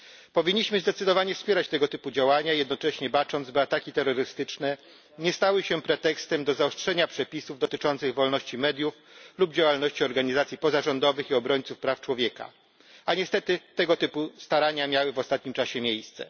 Powinniśmy zdecydowanie wspierać tego typu działania, jednocześnie bacząc, by ataki terrorystyczne nie stały się pretekstem do zaostrzenia przepisów dotyczących wolności mediów lub działalności organizacji pozarządowych i obrońców praw człowieka, a niestety tego typu starania miały w ostatnim czasie miejsce.